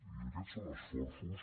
i aquests són esforços